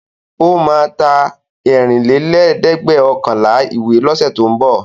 Ó máa ta ẹ̀rìnlélẹ́ẹ̀dẹ́gbẹ̀ọ̀kànlá ìwé lọ́sẹ̀ tó ń bọ̀.